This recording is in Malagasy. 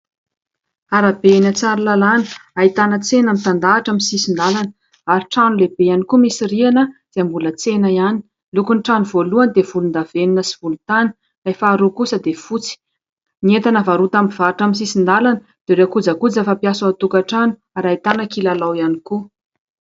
Arabe eny Tsaralalana hahitana tsena mitandahatra amin'ny sisin-dalana, ary trano lehibe ihany koa misy rihana zay mbola tsena ihany. Ny lokon'ny trano voalohany dia volon-davenona sy volotany, Ilay faharoa kosa dia fotsy. Ny entana varotana amin'ny sisin-dalana dia ireo kojakoja fampiasa ao an-tokatrano ary hahitana kilalao ihany koa.